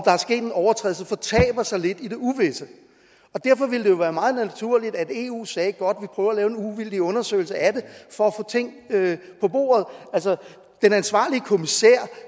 er sket en overtrædelse fortaber sig lidt i det uvisse derfor ville det jo være meget naturligt at eu sagde godt vi prøver at lave en uvildig undersøgelse af det for at få ting på bordet den ansvarlige kommissær